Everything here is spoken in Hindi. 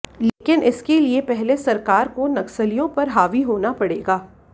लेकिन इसके लिए पहले सरकार को नक्सलियों पर हावी होना पड़ेगा